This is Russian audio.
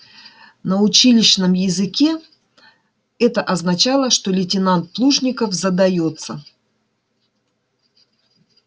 на училищном языке это означало что лейтенант плужников задаётся